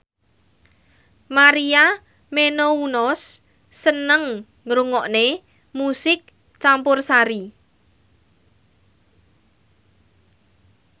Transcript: Maria Menounos seneng ngrungokne musik campursari